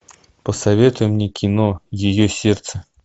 посоветуй мне кино ее сердце